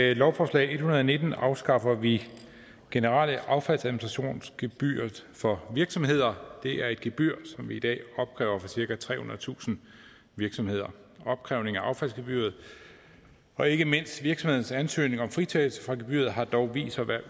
lovforslag en hundrede og nitten afskaffer vi generelt affaldsadministrationsgebyret for virksomheder det er et gebyr som vi i dag opkræver hos cirka trehundredetusind virksomheder opkrævning af affaldsgebyret og ikke mindst virksomheders ansøgninger om fritagelse for gebyret har dog vist sig at være